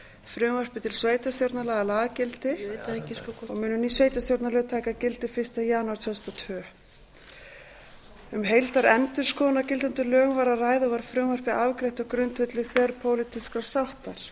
frumvarpi til sveitarstjórnarlaga lagagildi og munu ný sveitarstjórnarlög taka gildi fyrsta janúar tvö þúsund og tólf um heildarendurskoðun á gildandi lögum var að ræða og var frumvarpið afgreitt á grundvelli þverpólitískrar sáttar